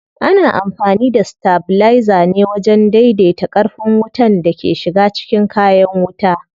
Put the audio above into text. Ana amfani da stabilizer ne wajen dai dai ta ƙarfin wutan da ke shiga cikin kayan wuta.